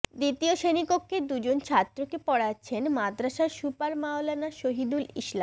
দ্বিতীয় শ্রেণিকক্ষে দুজন ছাত্রকে পড়াচ্ছেন মাদরাসার সুপার মাওলানা শহিদুল ইসলাম